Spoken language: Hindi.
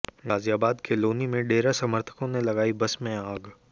गाजियाबाद के लोनी में डेरा समर्थकों ने बस में लगाई आग